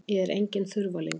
Ég er enginn þurfalingur.